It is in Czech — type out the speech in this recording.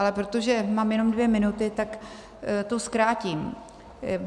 Ale protože mám jenom dvě minuty, tak to zkrátím.